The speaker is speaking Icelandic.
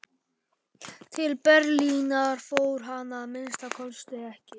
Til Berlínar fór hann að minnsta kosti ekki.